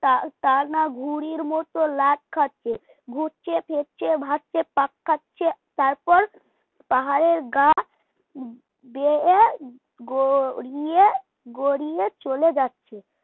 টানা টানা ঘড়ির মতো লাট খাচ্ছে, ঘুরছে ফিরছে ভাসছে টাক খাচ্ছে তারপর পাহাড়ের গা বেয়ে গড়িয়ে গড়িয়ে চলে যাচ্ছে